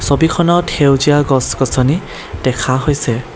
ছবিখনত সেউজীয়া গছ-গছনি দেখা হৈছে।